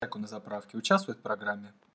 как он на заправке участвуют в программе